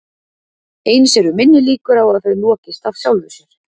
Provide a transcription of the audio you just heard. Eins eru minni líkur á að þau lokist af sjálfu sér.